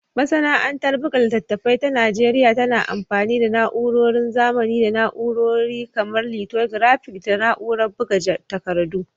Masana'antar buga littattafai ta Najeriya tana amfani da na'urorin zamani da na'urori kamar lithographic da na'urar buga takardu.